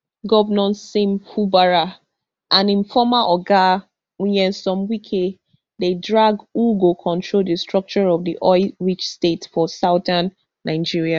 govnor sim fubara and im former oga nyesom wike dey drag who go control di structure of di oil rich state for southern nigeria